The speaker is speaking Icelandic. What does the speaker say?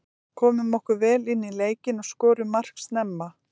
Komum okkur vel inní leikinn og skorum mark snemma.